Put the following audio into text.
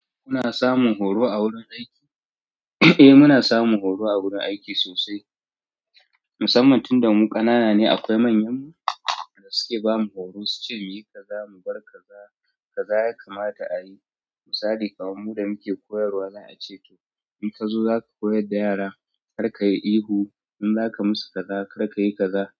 Kuna samun horo a wurin aiki? Eh muna samun horo a wurin aiki sosai, musamman tun da mu ƙanana ne akwai manyan mu da suke bamu horo, suce mu yi kaza, mu bar kaza, kaza ya kamata a yi, misali, kaman mu da muke koyarwa za a ce to in ka zo za ka koyar da yara kar ka yi ihu, in za ka musu kaza kar ka yi kaza.